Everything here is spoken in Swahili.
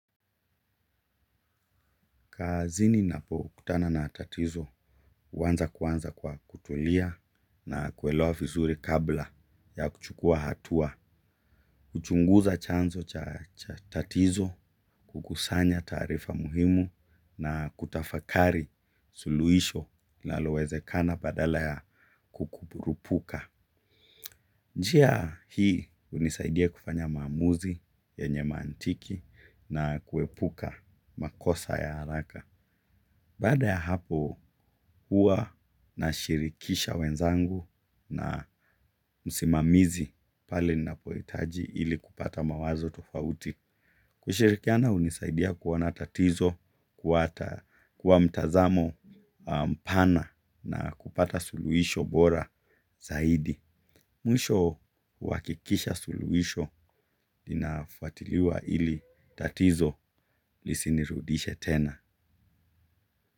Kazini napokutana na tatizo huanza kwanza kwa kutulia na kuelewa vizuri kabla ya kuchukua hatua, kuchunguza chanzo cha tatizo, kukusanya taarifa muhimu na kutafakari suluhisho linalowezekana badala ya kukuburupuka. Njia hii hunisaidia kufanya maamuzi yenye maantiki na kuepuka makosa ya haraka. Baada ya hapo huwa nashirikisha wenzangu na msimamizi pale ninapohitaji ili kupata mawazo tofauti. Kushirikiana hunisaidia kuona tatizo, kuwa mtazamo mpana na kupata suluhisho bora zaidi. Mwisho huhakikisha suluhisho, linafuatiliwa ili tatizo lisinirudishe tena.